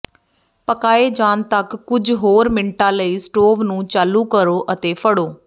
ਪਕਾਏ ਜਾਣ ਤੱਕ ਕੁਝ ਹੋਰ ਮਿੰਟਾਂ ਲਈ ਸਟੋਵ ਨੂੰ ਚਾਲੂ ਕਰੋ ਅਤੇ ਫੜੋ